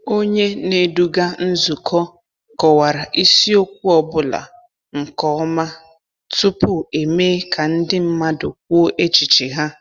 Onye na-eduga nzukọ kọwara isiokwu ọ bụla nke ọma tupu emee ka ndị mmadụ kwuo echiche ha.